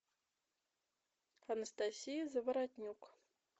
анастасия заворотнюк